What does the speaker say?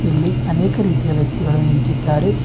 ಇಲ್ಲಿ ಅನೇಕ ರೀತಿಯ ವ್ಯಕ್ತಿಗಳು ನಿಂತಿದ್ದಾರೆ.